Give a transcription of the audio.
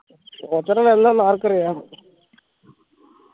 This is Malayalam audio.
ഒച്ചറ ആർക്കറിയാം